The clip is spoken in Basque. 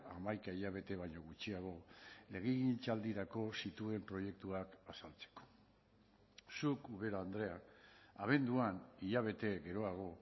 hamaika hilabete baino gutxiago legegintzaldirako zituen proiektuak azaltzeko zuk ubera andrea abenduan hilabete geroago